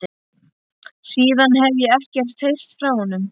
Síðan hefi ég ekkert heyrt frá honum.